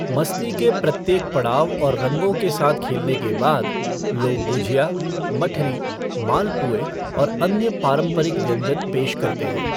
मस्ती के प्रत्येक पड़ाव और रंगों के साथ खेलने के बाद, लोग गुझिया, मठरी, मालपुए और अन्य पारंपरिक व्यंजन पेश करते हैं।